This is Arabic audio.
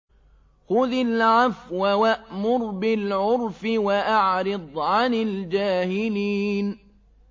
خُذِ الْعَفْوَ وَأْمُرْ بِالْعُرْفِ وَأَعْرِضْ عَنِ الْجَاهِلِينَ